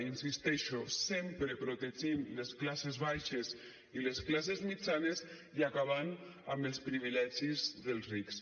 hi insisteixo sempre protegint les classes baixes i les classes mitjanes i acabant amb els privilegis dels rics